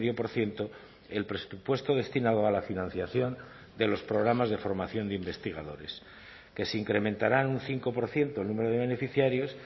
por ciento el presupuesto destinado a la financiación de los programas de formación de investigadores que se incrementarán un cinco por ciento el número de beneficiarios